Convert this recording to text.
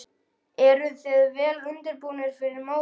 Eruð þið vel undirbúnir fyrir mótið?